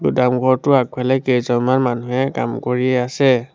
গুদাম ঘৰটোৰ আগফালে কেইজনমান মানুহে কাম কৰি আছে।